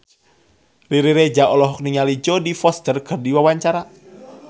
Riri Reza olohok ningali Jodie Foster keur diwawancara